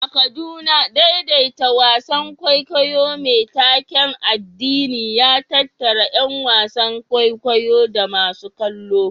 A Kaduna, daidaita wasan kwaikwayo mai taken addini ya tattara ƴan wasan kwaikwayo da masu kallo.